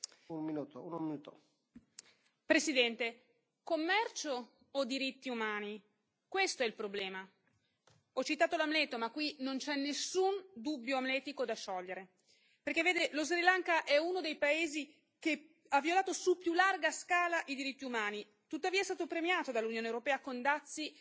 Signor Presidente, onorevoli colleghi, Commercio o diritti umani? Questo è il problema! Ho citato l'Amleto, ma qui non c'è nessun dubbio amletico da sciogliere. Perché vede, lo Sri Lanka è uno dei paesi che ha violato su più larga scala i diritti umani, tuttavia è stato premiato dall'Unione europea con dazi